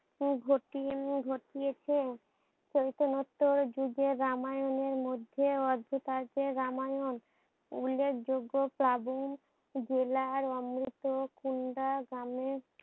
উম ঘটি ঘটিয়েছেন সৈতনোত্তর যুগে রামায়ণের মধ্যে অদ্ভুত অর্থে রামায়ণ উল্ল্যেখ যোগ্য প্লাবন জেলার অমৃত কুন্দা গ্রামে